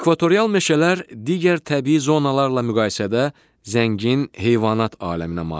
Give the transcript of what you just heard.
Ekvatorial meşələr digər təbii zonalarla müqayisədə zəngin heyvanat aləminə malikdir.